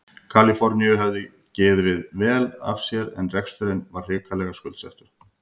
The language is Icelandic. Kaliforníu hafði gefið vel af sér en reksturinn var hrikalega skuldsettur.